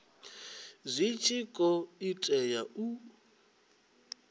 zwi tshi khou tea u